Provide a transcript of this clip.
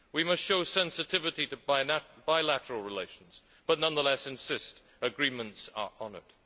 We must show sensitivity to bilateral relations but, nonetheless, insist agreements are honoured.